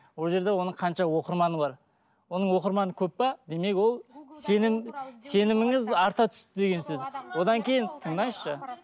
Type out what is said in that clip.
ол жерде оның қанша оқырманы бар оның оқырманы көп пе демек ол сенім сеніміңіз арта түсті деген сөз одан кейін тыңдаңызшы